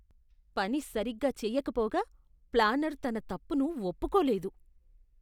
పని సరిగ్గా చేయకపోగా, ప్లానర్ తన తప్పును ఒప్పుకోలేదు.